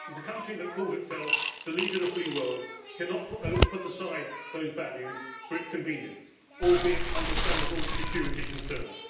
So the country that calls itself the leader of the free world cannot put aside those values for its convenience, albeit understandable security concerns.